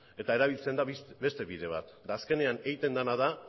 eta erabiltzen da beste bidea da eta azkenean egiten dena da